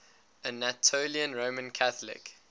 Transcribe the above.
anatolian roman catholic